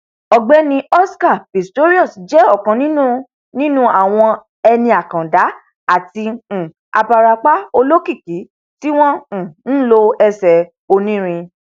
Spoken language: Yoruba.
ọgbẹni oscar pistorius jẹ ọkan nínú nínú àwọn eni àkàndá àti um abarapa olókìkí tí wọn um nlo ẹsẹ onírin